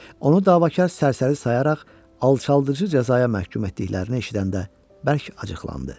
Onu davakar sərəsəri sayaraq alçaldıcı cəzaya məhkum etdiklərini eşidəndə bərk acıqlandı.